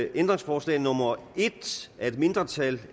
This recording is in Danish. ændringsforslag nummer en af et mindretal